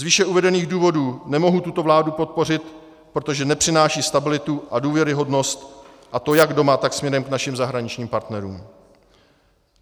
Z výše uvedených důvodů nemohu tuto vládu podpořit, protože nepřináší stabilitu a důvěryhodnost, a to jak doma, tak směrem k našim zahraničním partnerům.